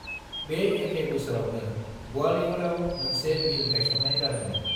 बे एखे बोसोरावनो ग्वालियरआव मोनसे मिल गायसन्नाय जादों मोन।